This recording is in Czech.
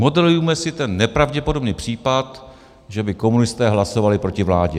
Modelujme si ten nepravděpodobný případ, že by komunisté hlasovali proti vládě.